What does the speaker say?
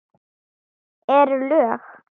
Eru lög.